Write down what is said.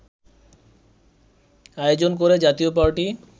আয়োজন করে জাতীয় পার্টি